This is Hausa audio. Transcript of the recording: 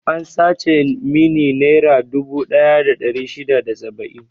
An sace mun nera dubu ɗaya da ɗari shida da saba'in.